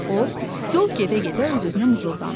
O yol gedə-gedə öz-özünə mızıldandı.